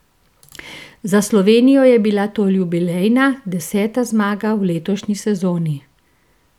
Za Slovenijo je bila to jubilejna, deseta zmaga v letošnji sezoni.